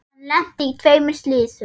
Hann lenti í tveimur slysum.